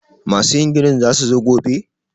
masu yin ginin za su zo gobe?